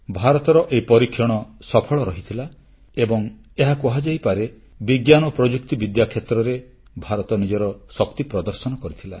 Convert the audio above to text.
ଭାରତର ଏହି ପରୀକ୍ଷଣ ସଫଳ ରହିଥିଲା ଏବଂ ଏହା କୁହାଯାଇପାରେ ବିଜ୍ଞାନ ଓ ପ୍ରଯୁକ୍ତିବିଦ୍ୟା କ୍ଷେତ୍ରରେ ଭାରତ ନିଜର ଶକ୍ତି ପ୍ରଦର୍ଶନ କରିଥିଲା